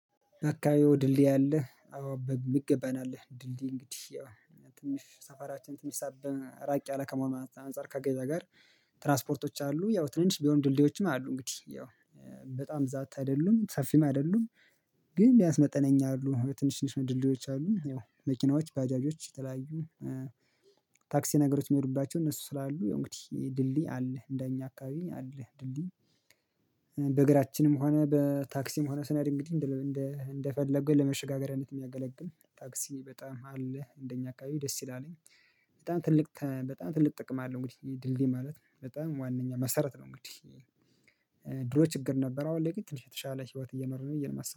አካባቢው ድልድይ አለ አዎ በሚገባ ነው። ያለ ድልድይ እንግዲህ ያው ትንሽ ሰፈራችን ትንሽ ሳብ ራቅ ያለ ከመሆኑ አንፃር ከገበያ ጋር ትራስፖርቶች አሉ። ያው ትንሽ ቢሆን ድልድዮችም አሉ እንግዲህ ያው በጣም ብዛት አይደሉም ሰፊም አይደሉም። ግን ቢያንስ መጠነኛ አሉ ትንሽ ትንሽ ድልድዮች አሉ። ይኸው መኪናዎች ባጃጆች የተለያዩ ታክሲ ነገሮች የሚሄዱባቸው እነሱ ስላሉ ያው እንግዲህ ድልድይ አለ እንደኛ አካባቢ አለ ድልድይ። በእግራችንም ሆነ በታክሲም ሆነ ስነድ እንግዲህ እንደፈለገው ለመሸጋገሪያነት የሚያገለግል ታክሲ በጣም አለ። እንደኛ አካባቢ ደስ ይላልኝ በጣም ትልቅ ተ በጣም ትልቅ ጥቅም አለው። እንግዲህ ድልድይ ማለት በጣም ዋናኛ መሰረት ነው። እንግዲህ ድሮ ችግር ነበረ አሁን ላይ ግን ትንሽ የተሻለ ህይወት እየኖርነ ነው የመሰለኝ